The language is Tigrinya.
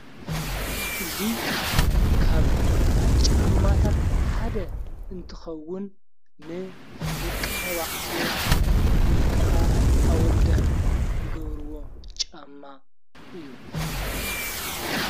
እዙ ካብ ጫማታት ሓደ እንትኸውን ን ደቂ ተባዕትዮ ወይ ከዓ ኣወዳት ገብርዎ ጫማ እዩ።